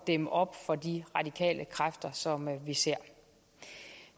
dæmme op for de radikale kræfter som vi ser